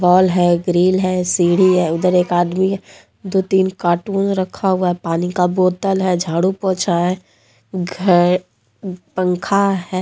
Hall है grill है सीढ़ी है उधर एक आदमी दो तीन कार्टून रखा हुआ पानी का बोतल है झाड़ू पोछा है घ पंखा है।